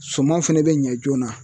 Suman fɛnɛ bɛ ɲɛ joona